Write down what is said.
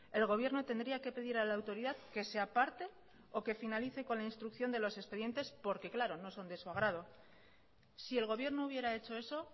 el gobierno tendría que pedir a la autoridad que se aparte o que finalice con la instrucción de los expedientes porque claro no son de su agrado si el gobierno hubiera hecho eso